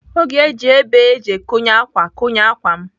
Ọ ga-eji ibé eji ekonye ákwà konye ákwà m.